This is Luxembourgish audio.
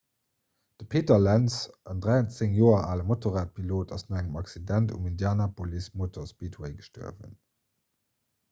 de peter lenz en 13 joer ale motorradpilot ass no engem accident um indianapolis motor speedway gestuerwen